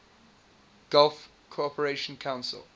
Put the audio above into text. gulf cooperation council